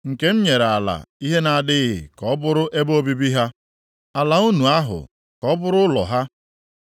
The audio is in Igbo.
Nke m nyere ala ihe na-adịghị ka ọ bụrụ ebe obibi ha, ala nnu ahụ ka ọ bụrụ ụlọ ha.